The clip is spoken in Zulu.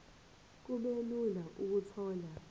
kube lula ukuthola